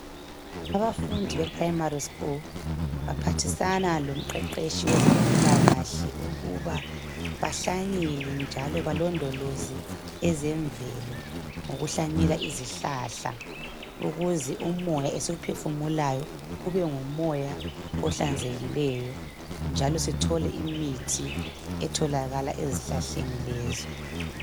abafundi beprimary school baphathisana lomqeqetshi wezempilakahle ukuba bahlanyele njalo belondoloze ezemvelo ngokuhlanyela izihlahla ukuze umoya esimphefumulayo kube ngumoya ohlanzekileyo njalo sithole imithi etholakalayo ezihlahleni lezi.